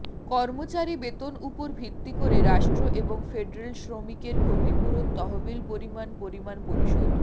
কর্মচারী বেতন উপর ভিত্তি করে রাষ্ট্র এবং ফেডারেল শ্রমিকের ক্ষতিপূরণ তহবিল পরিমাণ পরিমাণ পরিশোধ